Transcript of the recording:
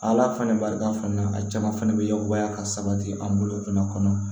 Ala fana barika fana a caman fana bɛ yakubaya ka sabati an bolo fana kɔnɔ